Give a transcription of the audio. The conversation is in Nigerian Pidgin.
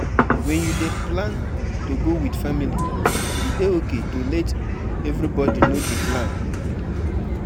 My mama dey run around since morning, she dey prepare for prepare for her sister traditional marriage